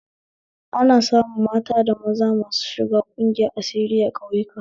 Ana samun maza da mata masu shiga ƙungiyar asiri a ƙauyayku